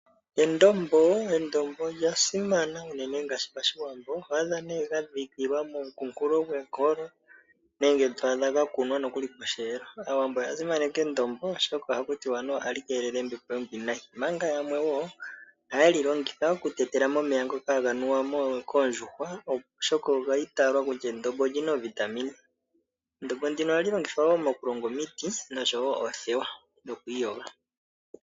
Endombo olya simana unene ngaashi PaShiwambo . Oho adha gadhikilwa momukunkulo gwenkolo nenge twaadha gakunwa nokuli posheelo. Aawambo oya simaneka endombo oshoka anuwa ohali keelele oombepo oombwiinayi. Omanga yamwe woo ,ohaye li longitha okutekela momeya ngoka haga nuwa koondjuhwa , oshoka olyiitalwa kutya olina iitungithilutu . Endombo nduno ohali longithwa woo nokuyoga omiti oshowoo oothewa.